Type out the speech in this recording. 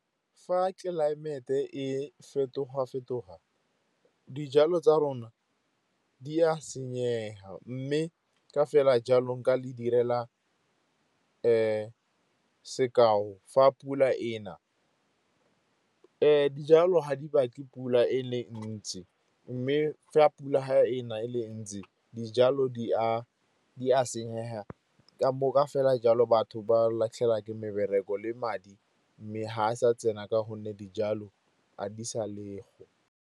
Fa tlelaemete e fetoga-fetoga dijalo tsa rona di a senyega, mme ka fela jalo nka le direla sekao fa pula e na, dijalo ga di ba tle pula e le ntsi. Mme fa pula e na e le ntsi, dijalo di a senyega. Ka fela jalo, batho ba latlhela ke mebereko le madi mme ga a sa tsena ka gonne dijalo a di sa le go.